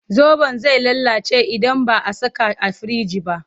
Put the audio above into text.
Zaɓon zai lalace idan ba a saka a firinji ba.